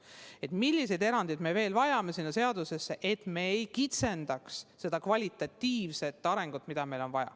Meil on vaja vaadata, milliseid erandeid me selle seaduse puhul veel vajame, et me ei kitsendaks seda kvalitatiivset arengut, mida meil on vaja.